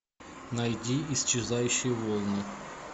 найди исчезающие волны